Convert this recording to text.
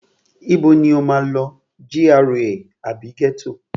Ibo ni o máa lọ, GRA àbí ghetto?